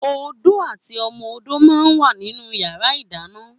Ódó àtí òmò ódó mà n wá ninú iyàrá idàná